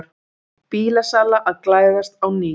Bílasala að glæðast á ný